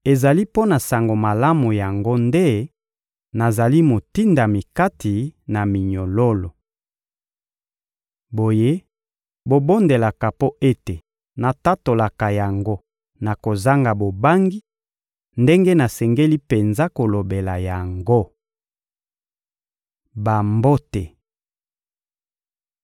Ezali mpo na Sango Malamu yango nde nazali motindami kati na minyololo. Boye, bobondelaka mpo ete natatolaka yango na kozanga bobangi, ndenge nasengeli penza kolobela yango. Bambote